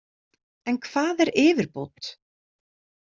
En hvað er yfirbót?